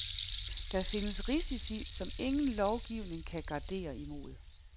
Der findes risici, som ingen lovgivning kan gardere imod.